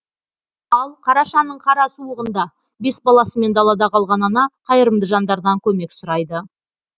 ал қарашаның қара суығында бес баласымен далада қалған ана қайырымды жандардан көмек сұрайды